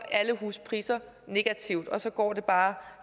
alle huspriser negativt og så går det bare